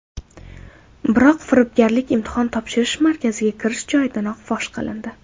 Biroq firibgarlik imtihon topshirish markaziga kirish joyidayoq fosh qilindi.